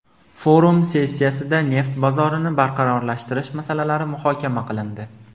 Forum sessiyasida neft bozorini barqarorlashtirish masalalari muhokama qilindi.